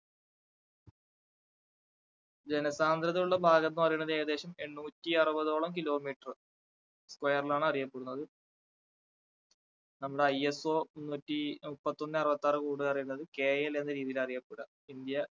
ജനസാന്ദ്രതയുള്ള ഭാഗം എന്ന് പറയുന്നത് ഏകേദശം എണ്ണൂറ്റി അറുപതോളം kilometer square ൽ ആണ് അറിയപ്പെടുന്നത് അന്ന് ISO നൂറ്റിമുപ്പത്തൊന്ന് അറുപത്താറ് പറയുന്നത് KL എന്ന രീതിയിലാ അറിയപ്പെടുക ഇന്ത്യ